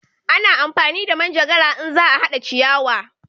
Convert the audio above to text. A na amfani da manjagara in za a hada ciyawa